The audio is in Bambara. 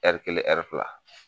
Ɛri kelen, ɛri fila